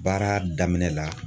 Baara daminɛ la